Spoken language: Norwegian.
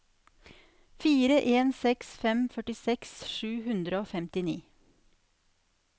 fire en seks fem førtiseks sju hundre og femtini